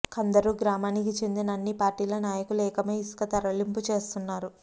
కందరూ గ్రామానికి చెందిన అన్ని పార్టీల నాయకులు ఏకమై ఇసుక తరలింపు చేస్తున్నారు